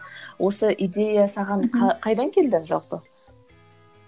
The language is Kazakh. осы идея саған қайдан келді жалпы